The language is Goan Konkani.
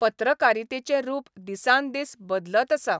पत्रकारितेचें रूप दिसान दीस बदलत आसा.